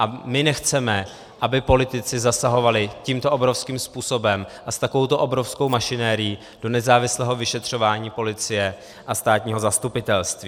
A my nechceme, aby politici zasahovali tímto obrovským způsobem a s takovouto obrovskou mašinérií do nezávislého vyšetřování policie a státního zastupitelství.